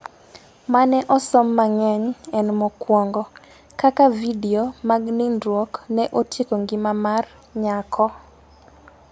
mane osom mangeny en mokuongo ,Kaka vidio mag nindruok ne otieko ngima mar nyako